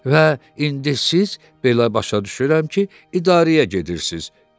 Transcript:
Və indi siz belə başa düşürəm ki, idarəyə gedirsiz.